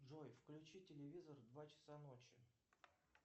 джой включи телевизор в два часа ночи